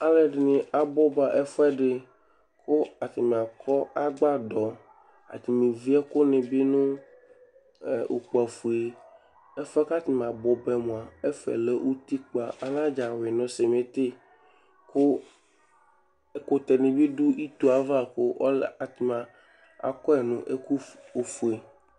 aluedini abuba ɛfuẽdi kʊ atania kɔ agbadɔ atanie viékʊnibi nʊ ũkpafué ɛfuẽ katania bũbaɛ mũa ɛfɛ lẽ ụtikpã anadza yui nu cimitï kũ ẽkũtẽ nibi dũ itóeva kũ ɔlɛ kũ atania ƙɔe néku fué